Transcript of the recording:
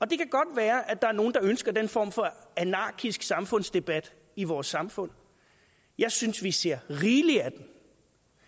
det kan godt være der er nogle der ønsker den form for anarkisk samfundsdebat i vores samfund jeg synes vi ser rigeligt af det